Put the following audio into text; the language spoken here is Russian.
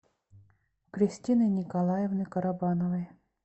кристины николаевны карабановой